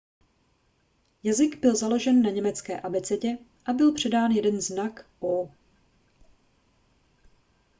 jazyk byl založen na německé abecedě a byl přidán jeden znak õ/õ